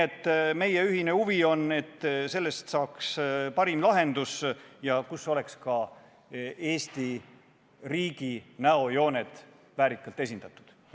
Ent meie ühine huvi on see, et sellest kavast saaks parim lahendus ja et selles oleksid ka Eesti riigi näojooned väärikalt esindatud.